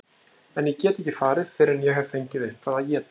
En ég get ekki farið fyrr en ég hef fengið eitthvað að éta.